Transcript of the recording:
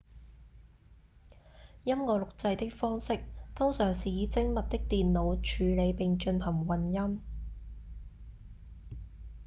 音樂錄製的方式通常是以精密的電腦處理並進行混音